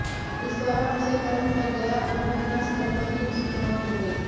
इस दौरान उसे करंट लग गया और घटना स्थल पर ही उसकी मौत हो गई